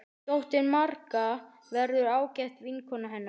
Dóttirin Marga verður ágæt vinkona hennar.